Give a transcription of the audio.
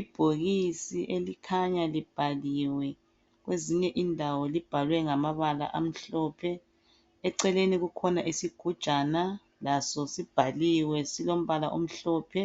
Ibhokisi elikhanya libhaliwe. Kwezinye indawo libhalwe ngamabala amhlophe. Eceleni kukhona isigujana, laso sibhaliwe, silombala omhlophe,